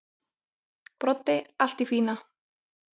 Broddi: Allt í fína.